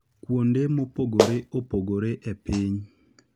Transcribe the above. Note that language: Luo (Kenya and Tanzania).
kuonde mopogore opogore e piny.